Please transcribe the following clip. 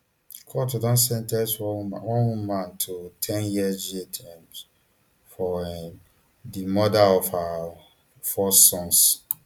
court don sen ten ce one woman one woman to ten years jailterm for um di murder of her four sons